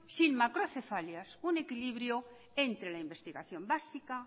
sin macrocefalias un equilibrio entre la investigación básica